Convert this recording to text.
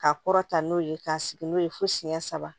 K'a kɔrɔta n'o ye k'a sigi n'o ye fo siyɛn saba